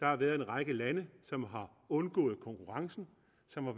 har været en række lande som har undgået konkurrencen